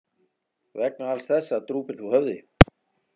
Vegna alls þessa drúpir þú höfði.